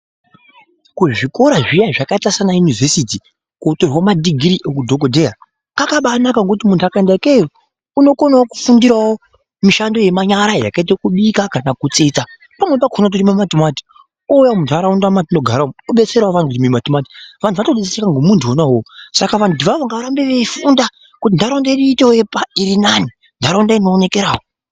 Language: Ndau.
Kuzvikora zviya zvakaita sanaunivhesiti kunotorwa madhigiri eudhokotera kwakabanaka ngekuti munhtu akaenda ikeyo inokonawo kufundirwo mishando yemanyara yakaita kubika, kana kutsetsa kumweni kwakona kurima matimati ouya muntharaunda matinogara umo odetserawo anthu kurima matimati, vanthu vatodetserwa ngomunthu una uwowo. Saka vanthu avavo ngavarambe veifunda kuti ntharaunda iitewo inooneka, ntharaunda iitewo irinani.